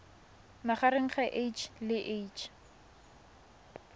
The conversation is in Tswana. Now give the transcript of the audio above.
magareng ga h le h